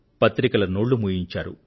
పత్రికల నోళ్లు మూయించారు